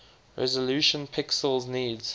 resolution pixels needs